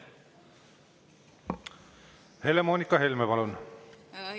Helle-Moonika Helme, palun!